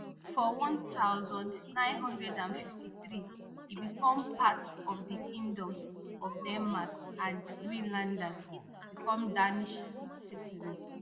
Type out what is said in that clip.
for one thousand, nine hundred and fifty-three e become part of di kingdom of denmark and greenlanders become danish citizens